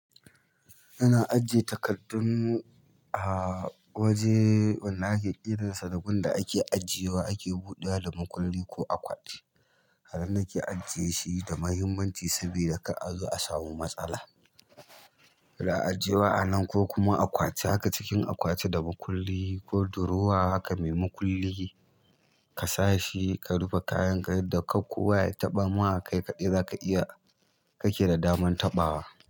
Kana ajiye takardun a waje wan da ake kiransa da gun da ake ajiyewa ake buɗe makulli ko akwati. Anan nake ajiye shi da muhimmanci saboda kar a zo a samu matsala. A'ajiyewa a nan ko kuma akwati haka cikin akwati da makulli ko durowa haka mai makulli ka sa shi ka rufe kayan ka yadda kar ko wa ya taɓa ma kai kaɗai zaka iya kake da damar taɓawa.